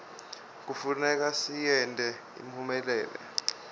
kufuneka siyente iphumelele